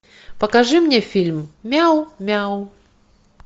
покажи мне фильм мяу мяу